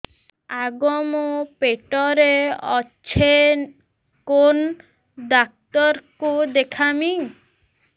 ଆଗୋ ମୁଁ ପେଟରେ ଅଛେ କେନ୍ ଡାକ୍ତର କୁ ଦେଖାମି